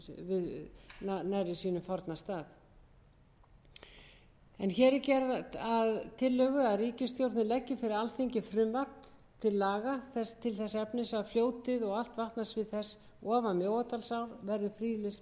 hér er gert að tillögu að ríkisstjórnin leggi fyrir alþingi frumvarp til laga þess efnis að fljótið og allt vatnasvið þess ofan mjóadalsár verði friðlýst með